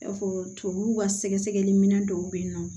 I n'a fɔ tubabuw ka sɛgɛsɛgɛli minɛn dɔw bɛ yen nɔ